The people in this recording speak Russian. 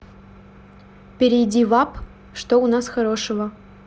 перейди в апп что у нас хорошего